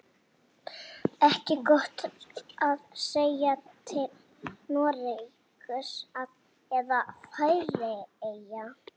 Ekki gott að segja, til Noregs eða Færeyja.